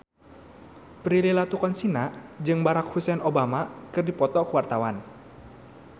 Prilly Latuconsina jeung Barack Hussein Obama keur dipoto ku wartawan